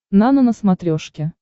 нано на смотрешке